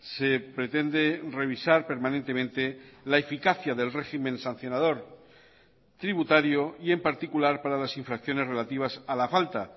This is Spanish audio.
se pretende revisar permanentemente la eficacia del régimen sancionador tributario y en particular para las infracciones relativas a la falta